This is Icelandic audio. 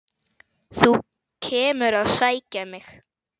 Þú kemur að sækja mig.